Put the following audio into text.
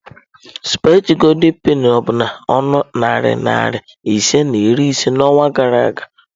sụpaghetị goldị penị no bụ na ọnụ narị naira ise na iri ise n'ọnwa gara aga.